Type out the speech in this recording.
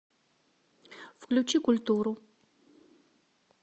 включи культуру